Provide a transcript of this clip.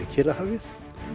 Kyrrahafið